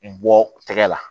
N bɔ tɛgɛ la